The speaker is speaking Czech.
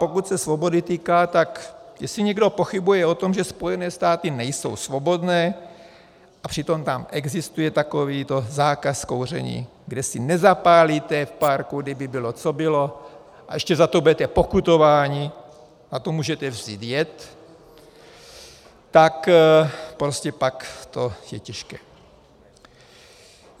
Pokud se svobody týká, že jestli někdo pochybuje o tom, že Spojené státy nejsou svobodné, a přitom tam existuje takovýto zákaz kouření, kde si nezapálíte v parku, kdyby bylo co bylo, a ještě za to budete pokutováni, na to můžete vzít jed, tak prostě pak to je těžké.